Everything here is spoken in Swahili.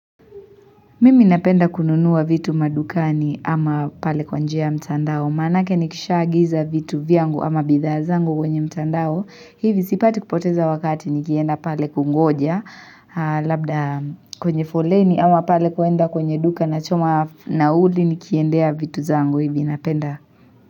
Mimi napenda kununua vitu madukani ama pale kwa njia ya mtandao. Maanake nikisha agiza vitu vyangu ama bidhaa zangu kwenye mtandao. Hivi zipati kupoteza wakati nikienda pale kungoja. Labda kwenye foleni ama pale kuenda kwenye duka nachoma nauli nikiendea vitu zangu hivi napenda.